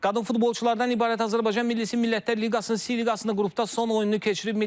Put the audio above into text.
Qadın futbolçulardan ibarət Azərbaycan Millisi Millətlər Liqasının C liqasında qrupda son oyununu keçirib.